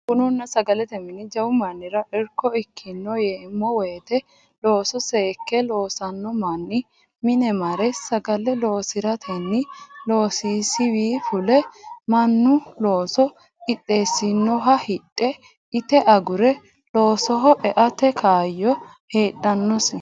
Bununna sagalete mini jawu mannira irko ikkino yeemmo woyte looso seekke loosano manni mine mare sagale loosiratenni loosisiwi fule mannu loose qixxeesinoha hidhe ite agure loosoho eate kaayyo heedhanosi.